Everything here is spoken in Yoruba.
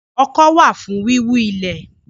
Ọkọ́ wà fún wíwú ilẹ̀